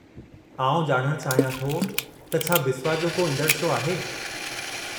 आउं ॼाणणु चाहियां थो त छा बिस्वा जो को ईंदड़ु शो आहे।